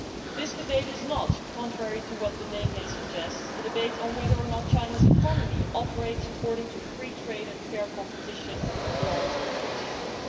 This debate is not, contrary to what the name may suggest, a debate on whether or not China's economy operates according to free trade and fair competition laws and principles.